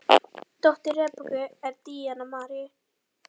Dóttir Rebekku er Díana Marín.